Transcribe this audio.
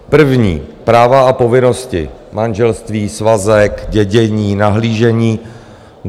První, práva a povinnosti manželství, svazek, dědění, nahlížení.